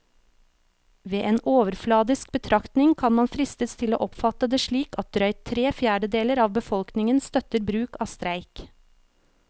Ved en overfladisk betraktning kan man fristes til å oppfatte det slik at drøyt tre fjerdedeler av befolkningen støtter bruk av streik.